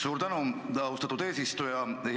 Suur tänu, austatud eesistuja!